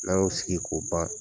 N'an y'o sigi ko ban